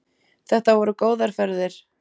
Þetta voru góðar ferðir.